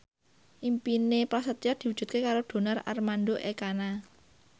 impine Prasetyo diwujudke karo Donar Armando Ekana